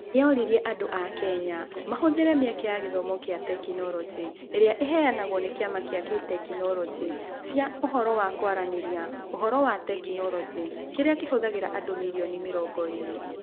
Nĩ aroririe andũ a Kenya mahũthĩre mĩeke ya gĩthomo kĩa tekinoronjĩ ĩrĩa ĩheanagwo nĩ Kĩama kĩa Tekinoronjĩ cia ũhoro wa kũaranĩrĩa (Ũhoro na Teknoroji), kĩrĩa kĩhũthagĩra andũ mirioni mĩrongo ĩrĩ.